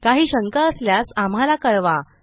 काही शंका असल्यास आम्हाला कळवा